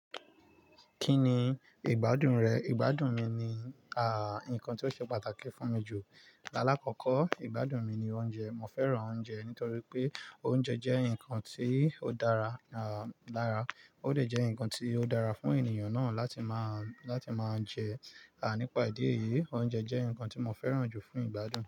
Kí ni ìgbádùn rẹ̀? Ìgbádùn mi ni, à, ǹkan tí ó ṣe pàtàkì fún mi jù. Laláàkọ́kọ́, ìgbádùn mi ni oúnjẹ. Mo fẹ́ràn oúnjẹ nítorí pé oúnjẹ jẹ́ ǹkan tí ó dára, à, dára. Ó de jẹ́ ǹkan tí ó dára fún ènìyàn náà láti máa jẹ. À, nípa ìdí èyí, oúnjẹ jẹ́ ǹkan tí mo fẹ́ràn jù fún ìgbádùn.